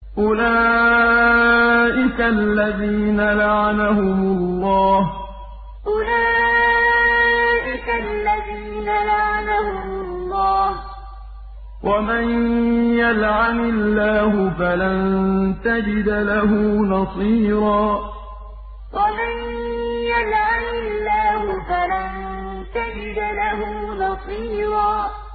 أُولَٰئِكَ الَّذِينَ لَعَنَهُمُ اللَّهُ ۖ وَمَن يَلْعَنِ اللَّهُ فَلَن تَجِدَ لَهُ نَصِيرًا أُولَٰئِكَ الَّذِينَ لَعَنَهُمُ اللَّهُ ۖ وَمَن يَلْعَنِ اللَّهُ فَلَن تَجِدَ لَهُ نَصِيرًا